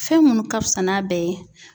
Fɛn minnu ka fisa n'a bɛɛ ye.